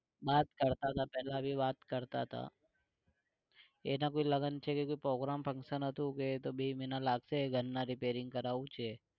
વાત કરતા તા પેલા ભી વાત કરતા તા એના કોઈ લગ્ન છે કોઈ program function હતું તો બે મહીના લાગશે ઘર ના repairing કરાવું છે